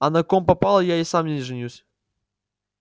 а на ком попало я и сам не женюсь